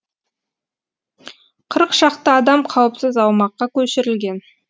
қырық шақты адам қауіпсіз аумаққа көшірілген